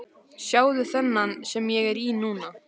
Sjáðu þennan sem ég er í núna?